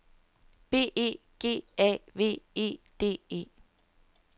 B E G A V E D E